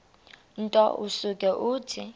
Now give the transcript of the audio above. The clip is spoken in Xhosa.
nto usuke uthi